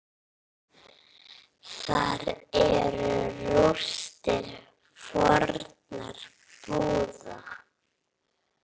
Þar eru rústir fornra búða.